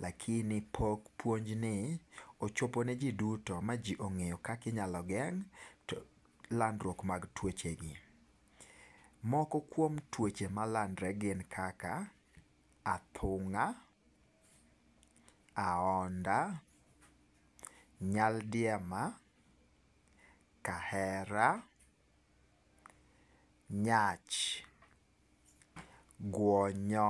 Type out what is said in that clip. lakini pok puonj ni ochopo ne ji duto ma ji ong'eyo kaki inyalo ngeng' landruok mag tuochegi, moko kuom tuoche malandorre gin kaka athung'a, aonda, nyaldiema, kahera, nyach, guonyo.